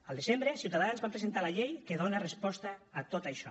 al desembre ciutadans vam presentar la llei que dona resposta a tot això